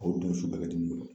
O dun su bɛɛ bɛ dimi